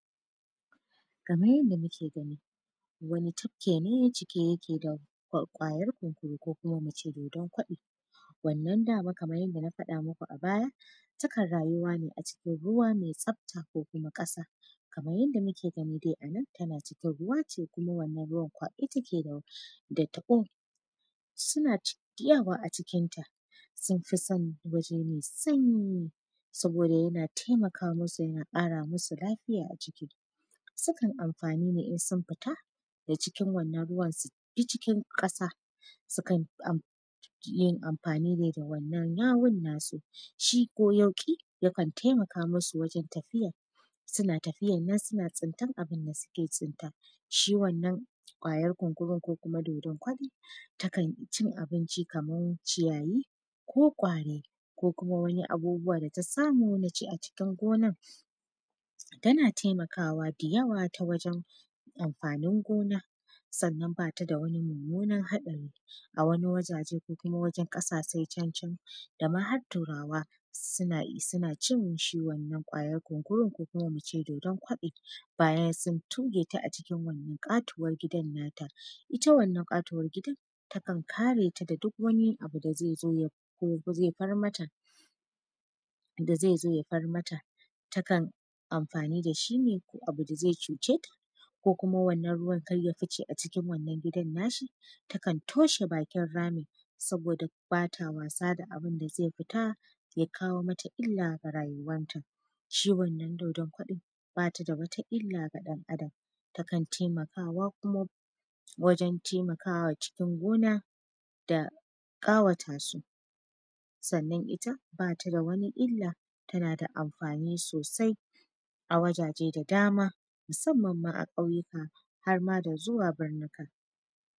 Kamar yadda muke gani wani tafki ne cike yake da ƙwayan kunkuru ko kuma mu ce dodon koɗi, wannan dama kamar yadda na faɗa muku a baya takan rayuwa ne a cikin ruwa mai tsafta ko kuma kasa kamar yadda muke gani a nan tana cikin ruwa ce kuma wannan ruwan kwaɓe take da taɓo suna tsayawa a ciinta sun fi son waje mai sanyi saboda yana taimaka masu yana kara musu lafiya a jiki, sukan amfani ne in sun fita da cikin wannan ruwan su bi cikin kasa sukan amfani ne da wannan yahun nasu shi ko yauki yakan taimaka masu wajen tafiya suna tafiya suna tsuntar abun da suke tsunta, shi wannan ƙwayan kunkuru ko kuma dodon koɗi takan ci abinci kamai ciyayi ko ƙwari ko wani abubuwa da ta samu na ci a cikin gonar tana taimakawa da yawa ta wajen amfanin gona sannan bata da wani mummunar hatsari, a wani wajaje ko kuma wani kasashe can-can dama har turawa suna cin shi wannan ƙwayan kunkurun ko muce dodon koɗi bayan sun tuge ta a cikin wannan katuwan gidan nata, ita wannan katuwar gidan takan kare ta duk wani abu da zai zo ko kuma zai far mata da zai zo ya far mata takan amfani dashi ne ko abu da zai cuce ta ko kuma wannan ruwan kar ya fice a cikin wannan gidan nashi takan toshe bakin ramin saboda bata wasa da abun da zai futa ya kawo mata illa ga rayuwan ta, shi wannan dodon koɗi bata da wata illa gad an adam takan taimakawa kuma wajen taimakawa cikin gona da kawata su, sannan ita bata da wani illa tana da amfani sosai a wajaje da dama musamman ma a ƙauyuka har ma da zuwa birnin.